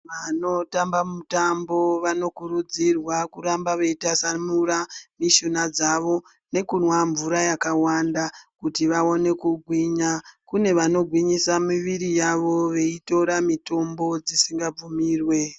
Vanotamba mutambo vanokurudzirwa kuramba veitasanura mishuna dzavo nekunwa mvura yakawanda kuti vaone kugwinya. Kune vanogwinyisa miviri yavo veitora mitombo dzisingabvumirwe.